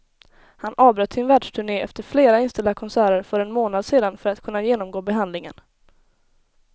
Han avbröt sin världsturne efter flera inställda konserter för en månad sedan för att kunna genomgå behandlingen.